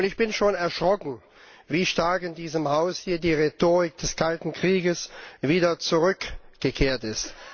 Ich bin schon erschrocken, wie stark hier in diesem Haus die Rhetorik des Kalten Kriegs wieder zurückgekehrt ist.